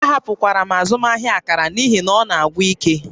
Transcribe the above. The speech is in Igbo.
Ahapụkwara m azụmaahịa akara n'ihi na ọ na-agwụ ike